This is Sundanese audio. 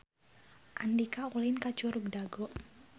Andika ulin ka Curug Dago